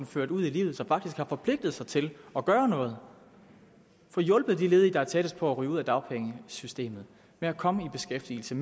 føre den ud i livet og som faktisk har forpligtet sig til at gøre noget og få hjulpet de ledige der er tættest på at ryge ud af dagpengesystemet med at komme i beskæftigelse